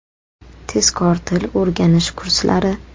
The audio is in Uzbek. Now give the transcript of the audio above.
Tezkor til o‘rganish kurslari!